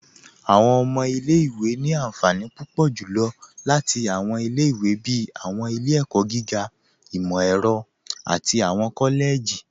Awọn ọmọ ilẹ̀-ìwé ni ànfànì púpọ̀ julọ́ láti awọn ilẹ̀-ìwé bíi awọn ilẹ̀-ẹ̀kọ̀ gígà, imọ-ẹrọ̀, àti awọn kọ́lẹ̀jì.